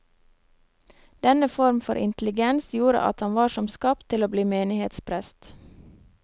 Denne form for intelligens gjorde at han var som skapt til å bli menighetsprest.